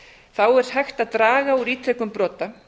þá er hægt að draga úr ítrekun brota